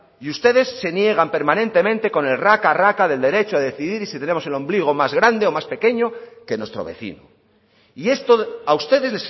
y ustedes se niegan permanentemente con el raca raca del derecho a decidir y si tenemos el ombligo más grande o más pequeño que nuestro vecino y esto a ustedes